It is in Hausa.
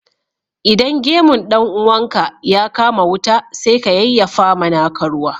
Idan gemun dan uwanka ya kama wuta, sai ka yayyafa ma naka ruwa